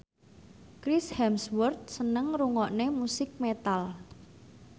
Chris Hemsworth seneng ngrungokne musik metal